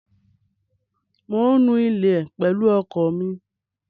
Mò ń nu ilé pẹ̀lú ọkọ mi.